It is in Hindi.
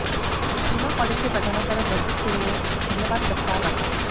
सीमा काॅलेज के प्रधानाचार्य बृजेश सिंह ने धन्यवाद प्रस्ताव रखा